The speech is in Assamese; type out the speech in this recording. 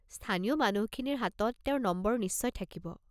স্থানীয় মানুহখিনিৰ হাতত তেওঁৰ নম্বৰ নিশ্চয় থাকিব।